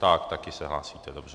Tak, také se hlásíte, dobře.